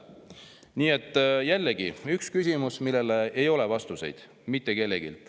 Nii et jällegi, küsimused, millele ei ole vastust mitte kellelgi.